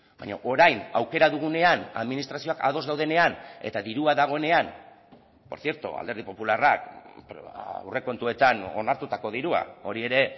baina orain aukera dugunean administrazioak ados daudenean eta dirua dagoenean por cierto alderdi popularrak aurrekontuetan onartutako dirua hori ere